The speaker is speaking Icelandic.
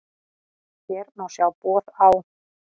Hér má sjá boð á